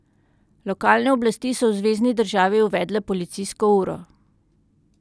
Lokalne oblasti so v zvezni državi uvedle policijsko uro.